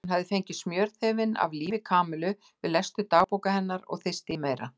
Hann hafði fengið smjörþefinn af lífi Kamillu við lestur dagbóka hennar og þyrsti í meira.